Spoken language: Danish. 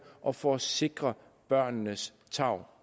og for at sikre børnenes tarv